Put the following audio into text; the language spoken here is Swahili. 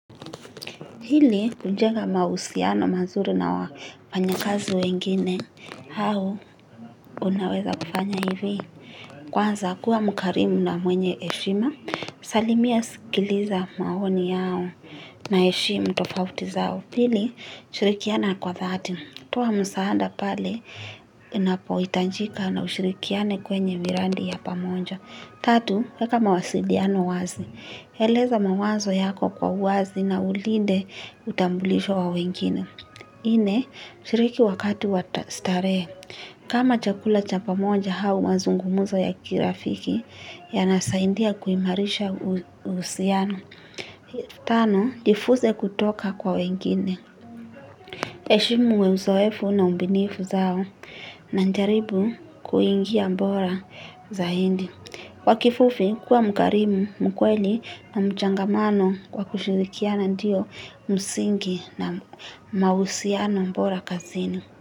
Ili kujenga mahusiano mazuri na wafanya kazi wengine, hao unaweza kufanya hivi. Kwanza kuwa mkarimu na mwenye heshima, salimia sikiliza maoni yao na heshimu tofauti zao. Pili, shirikiana kwa thati. Toa msaada pale, inapohitajika na ushirikiane kwenye miradi ya pamoja. Tatu, weka mawasiliano wazi. Eleza mawazo yako kwa wazi na ulinde utambulisho wa wengine. Nne, shiriki wakati wa starehe. Kama chakula chapa moja au mazungumzo ya kirafiki, yanasaidia kuimarisha uhusiano. Tano, jifunze kutoka kwa wengine. Heshimu uzoefu na ubunifu zao na jaribu kuingia bora zaidi. Kwa kifupi, kuwa mkarimu, mkweli na mchangamano kwa kushirikiana ndiyo msingi na mahusiano bora kazini.